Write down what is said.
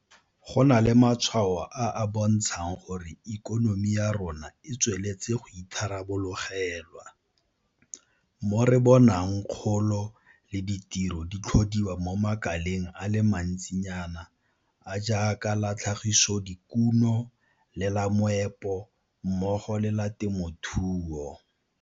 Go na le matshwao a a bontshang gore ikonomi ya rona e tsweletse go itharabologelwa, mo re bonang kgolo le ditiro di tlhodiwa mo makaleng a le mantsinyana a a jaaka la tlhagisodikuno le la meepo mmogo le la temothuo.